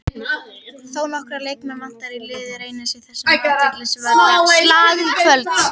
Þónokkra leikmenn vantar í lið Reynis í þessum athyglisverða slag í kvöld.